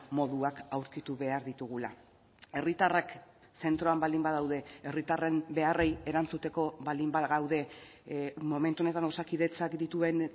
moduak aurkitu behar ditugula herritarrak zentroan baldin badaude herritarren beharrei erantzuteko baldin bagaude momentu honetan osakidetzak dituen